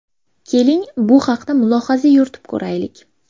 Keling, bu haqda mulohaza yuritib ko‘raylik.